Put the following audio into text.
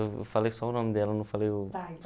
Eu falei só o nome dela, não falei o